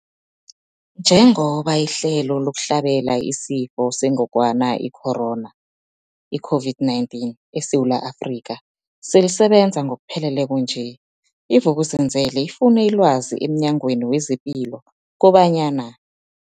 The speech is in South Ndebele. Njengoba ihlelo lokuhlabela isiFo sengogwana i-Corona, i-COVID-19, eSewula Afrika selisebenza ngokupheleleko nje, i-Vuk'uzenzele ifune ilwazi emNyangweni wezePilo kobanyana.